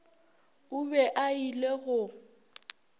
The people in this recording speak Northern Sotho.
o be a ile go